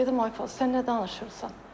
Dedim ay Fuad, sən nə danışırsan?